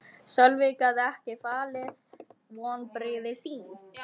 Sölvi gat ekki falið vonbrigði sín.